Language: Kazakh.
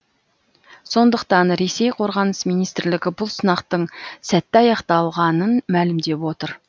сондықтан ресей қорғаныс министрлігі бұл сынақтың сәтті аяқталғанын мәлімдеп отыр